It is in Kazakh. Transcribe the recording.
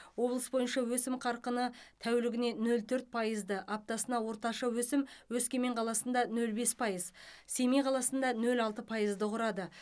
облыс бойынша өсім қарқыны тәулігіне нөл төрт пайызды аптасына орташа өсім өскемен қаласында нөл бес пайыз семей қаласында нөл алты пайызды құрады